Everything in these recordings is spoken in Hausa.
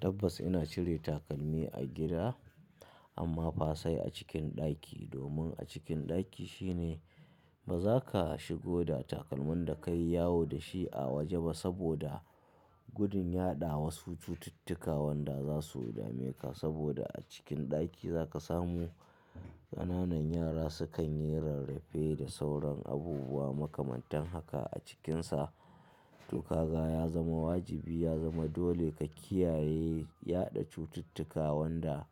Tabbas ina cire takalmi a gida amma fa sai a cikin ɗaki. Domin a cikin ɗaki shine ba za ka shigo da takalmin da ka yi yawo da shi a waje ba saboda gudun yaɗa wasu cututtuka wanda za su dame ka. Saboda a cikin ɗaki za ka samu ƙananan yara sukan yi rarrafe da sauran abubuwa makamantan haka a cikinsa. To kaga ya zama wajibi, ya zama dole ka kiyaye yaɗa cututtuka wanda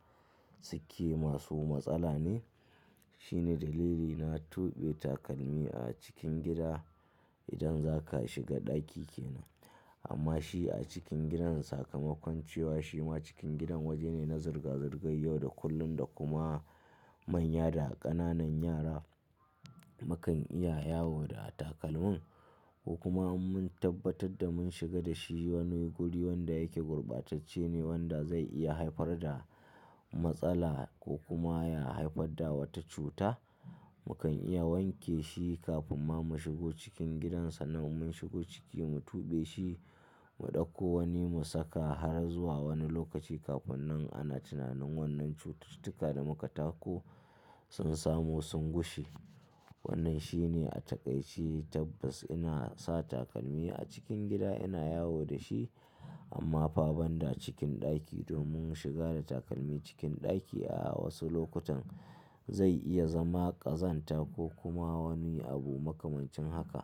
suke masu matsala ne. Shine dalili na tuɓe takalmi a cikin gida idan zaka shiga ɗaki kenan. Amma shi a cikin gidan sakamakon cewa shima cikin gidan waje ne na zirga-zirgar yau da kullum da kuma manya da ƙananan yara mukan iya yawo da takalman. Ko kuma in mun tabbatar da mun shiga da shi wani guri wanda yake gurbatacce ne wanda zai iya haifar da matsala ko kuma ya haifarda wata cuta, mukan iya wanke shi kafin ma mu shigo cikin gidansa. Nan mun shigo ciki mu tuɓe shi, mu ɗauko wani mu saka har zuwa wani lokaci kafin nan ana tunanin wannan cututtuka da muka tako sun samu sun gushe. Wannan shine a taƙaice. Tabbas ina sa takalmi a cikin gida, ina yawo da shi amma fa banda cikin ɗaki. Domin shiga da takalmi cikin ɗaki a wasu lokutan zai iya zama ƙazanta ko kuma wani abu makamancin haka.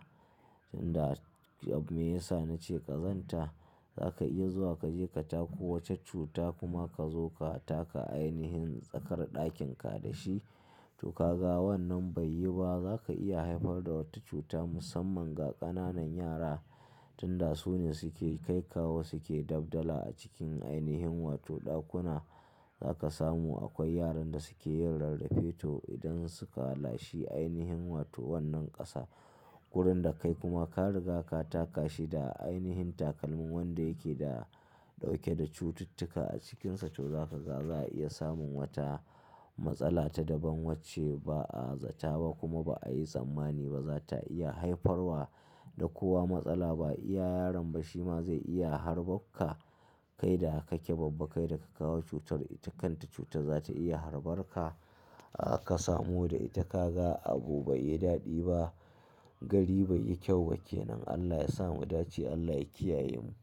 Inda abme ya sa nace ƙazanta, za ka iya zuwa kaje ka tako wata cuta kuma ka zo ka taka ainihin tsakar ɗakin ka da shi. To kaga wannan bai yi ba, za ka iya haifar da wata cuta musamman ga ƙananan yara. Tunda su ne suke kai kawo suke dab dala a cikin ainihin wato ɗakuna. Za ka samu akwai yaran da suke yin rarrafe to idan suka lashe ainihin wato wannan ƙasa. Gurun da kai kuma ka riga ka taka shi da ainihin takalmin wanda yake da ɗauke da cututtuka a cikinsa to za ka ga za a iya samun wata matsala ta daban wacce ba a zata ba kuma ba a yi tsammani ba. Inda abme ya sa nace ƙazanta, za ka iya zuwa kaje ka tako wata cuta kuma ka zo ka taka ainihin tsakar ɗakin ka da shi. Kai da kake babbaka da ka kawo cutar. Ita kanta cutar za ta iya harɓar ka aka samu da ita. Kaga abu bai yi daɗi ba, gari bai yi kyau ba kenan. Allah ya sa mu dace, Allah ya kiyaye mu.